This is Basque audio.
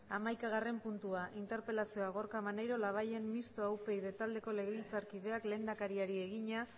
hamaikagarren puntua interpelazioa gorka maneiro labayen mistoa upyd taldeko legebiltzarkideak lehendakariari egina